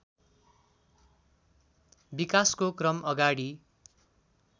विकासको क्रम अगाडि